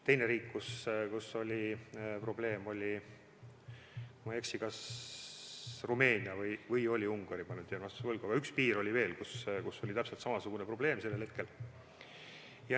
Teine riik, kus oli probleem, oli, kui ma ei eksi, kas Rumeenia või oli Ungari – ma nüüd jään vastuse võlgu –, aga üks piir oli veel, kus oli täpselt samasugune probleem sellel hetkel.